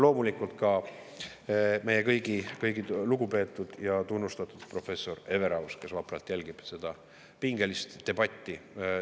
Loomulikult on seal ka meie kõigi lugupeetud ja tunnustatud professor Everaus, kes vapralt jälgib seda pingelist debatti.